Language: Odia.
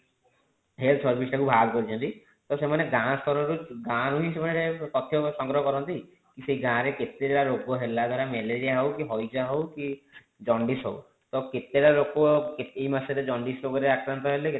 health service ଟା କୁ ବାହାର କରିଛନ୍ତି ତ ସେମାନେ ଗାଁ ସ୍ତର ରୁ ଗାଁ ରୁ ହିଁ ସେମାନେ ତଥ୍ୟ ସଂଗ୍ରହ କରନ୍ତି କି ସେ ଗାଁ ରେ କେତେ ଟା ରୋଗ ହେଲା ଧର ମେଲେରୀୟା ହୋଉ କି ହଇଜା ହୋଉ କି ଜଣ୍ଡିସ ହୋଉ କେତେ ଟା ଲୋକ ଏଇ ମାସରେ ଜଣ୍ଡିସ ରୋଗରେ ଆକ୍ରାନ୍ତ ହେଲେ